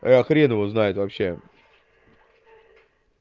а хрен его знает вообще